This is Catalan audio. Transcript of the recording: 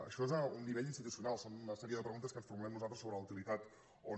això és a nivell institucional són una sèrie de preguntes que ens formulem nosaltres sobre la utilitat o no